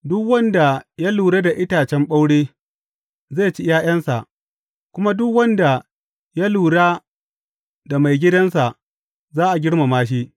Duk wanda ya lura da itacen ɓaure, zai ci ’ya’yansa, kuma duk wanda ya lura da maigidansa za a girmama shi.